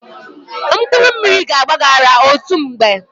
Mkpụrụ mmiri ga-agba gị ara otu mgbe.